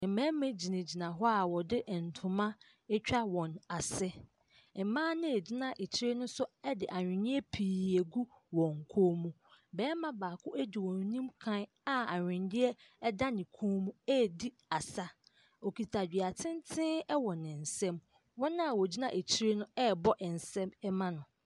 Mmarima gyinagyina hɔ a wɔde ntoma atwa wɔn ase, mmaa no a ɛgyina akyire no nso de aweneɛ pii agu wɔn kɔn mu, barima baako di wɔn anim kan a aweneɛ da ne kɔn mu ɛredi asa, okita dua tenten wɔ ne nsamu. Wɔn a wɔgyina akyire no ɛrebɔ nsa mu ma no.